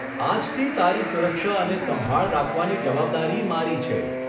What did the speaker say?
આજથી તારી સુરક્ષા અને સંભાળ રાખવાની જવાબદારી મારી છે.